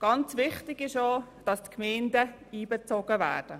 Sehr wichtig ist auch, dass die Gemeinden einbezogen werden.